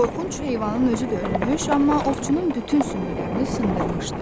Qorxunc heyvanın özü də ölmüş, amma ovçunun bütün sümüklərini sındırmışdı.